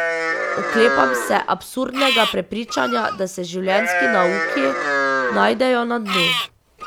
Oklepam se absurdnega prepričanja, da se življenjski nauki najdejo na dnu.